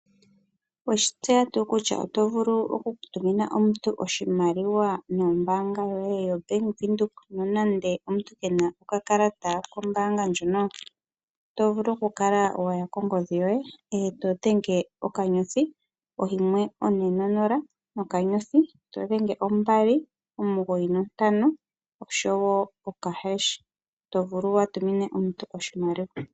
Oweshi tseya tuu kutya oto vulu oku tumina omuntu oshimaliwa nombanga yoye yoBank Windhoek nonande omuntu kena okakalata kombanga ndjono? Oto vulu oku kala waya kongodhi yoye eto dhenge okanyothi oyimwe, one nonola nokanyothi. To dhenge ombali omugoyi nontano oshowo okahesh to vulu wu tumina omuntu oshimaliwa.